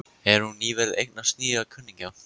Hefur hún nýverið eignast nýja kunningja?